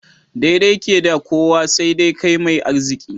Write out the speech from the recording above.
Daidai ke da kowa, sai dai kai mai arziki.